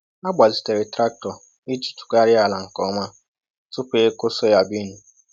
Ha gbazitere traktọ iji tụgharịa ala nke ọma tupu ịkụ soyabean